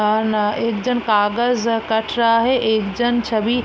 और ना एक जन कागज कट रहा है एक जन छबि --